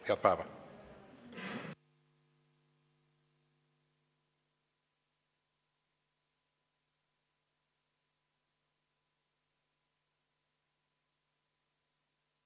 Head päeva!